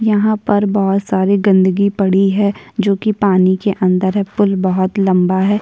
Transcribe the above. यहाँ पर बहोत सारी गंदगी पड़ी है जो कि पानी के अंदर है पर बहुत लंबा है।